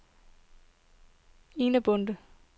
Ina Bonde